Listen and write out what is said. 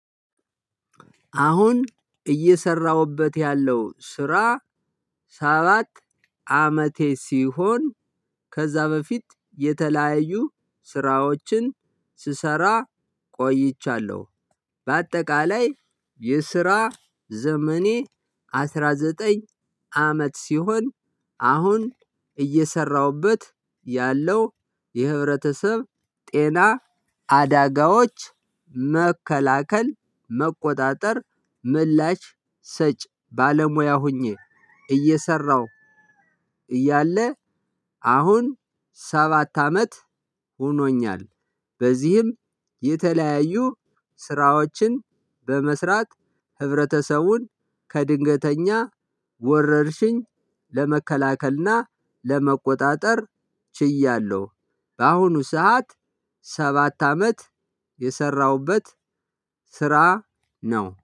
አሁን እየሰራሁበት ያለው ስራ ሰባት አመቴ ሲሆን ከዛ በፊት የተለያዩ ስራዎችን ስሰራ ቆይቻለሁ። በአጠቃላይ የስራ ዘመኔ አስራ ዘጠኝ አመት ሲሆን። አሁን እየሰራሁበት ያለው የህብረተሰብ ጤና አዳጋዎች መከላከል መቆጣጠር ምላሽ ሰጭ ባለሙያ ሆኜ። እየሰራሁ እያለ አሁን ሰባት አመት ሆኖኛል። በዚህም የተለያዩ ስራዎችን በመስራት ህብረተሰቡን ከድንገተኛ ወረርሽኝ ለመከላከል እና ለመቆጣጠር ችያለው። በአሁኑ ሰዓት ሰባት አመት የሰራሁበት ስራ ነው